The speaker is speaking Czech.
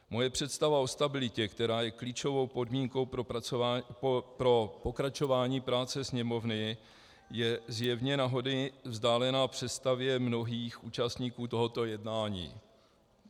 Moje představa o stabilitě, která je klíčovou podmínkou pro pokračování práce Sněmovny, je zjevně na hony vzdálená představě mnohých účastníků tohoto jednání.